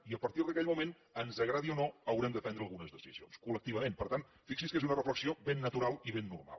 i a partir d’aquell moment ens agradi o no haurem de prendre algunes decisions colxi’s que és una reflexió ben natural i ben normal